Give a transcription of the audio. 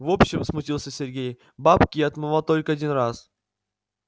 в общем смутился сергей бабки я отмывал только один раз